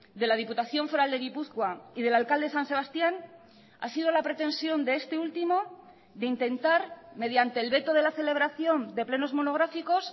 de la diputación foral de gipuzkoa y del alcalde de san sebastián ha sido la pretensión de este último de intentar mediante el veto de la celebración de plenos monográficos